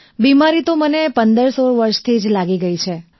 બિમારી તો મને 1516 વર્ષથી જ લાગી ગઈ છે